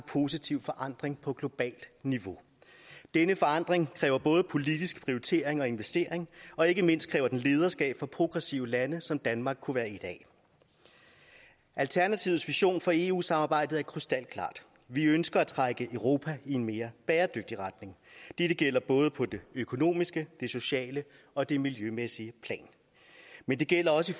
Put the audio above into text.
positiv forandring på globalt niveau denne forandring kræver både politisk prioritering og investering og ikke mindst kræver den lederskab fra progressive lande som danmark kunne være et af alternativets vision for eu samarbejdet er krystalklar vi ønsker at trække europa i en mere bæredygtig retning dette gælder både på det økonomiske det sociale og det miljømæssige plan men det gælder også